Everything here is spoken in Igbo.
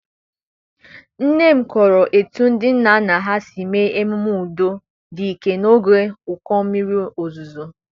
Nne m kọrọ etu ndị nna nna ha si mee ememe udo dị ike n'oge ụkọ mmiri ozuzo.